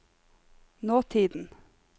nåtiden